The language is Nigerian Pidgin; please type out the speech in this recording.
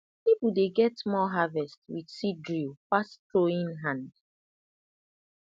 people dey get more harvest with seed drill pass throwing hand